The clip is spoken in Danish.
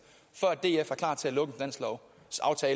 for at df er klar til at lukke